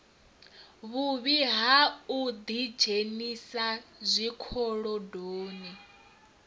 vhuvhi ha u ḓidzhenisa zwikolodoni